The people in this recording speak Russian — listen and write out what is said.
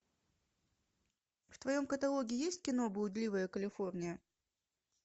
в твоем каталоге есть кино блудливая калифорния